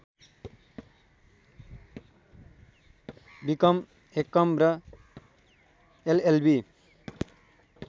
become MCom र LLB